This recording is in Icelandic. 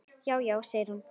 Já, já segir hún.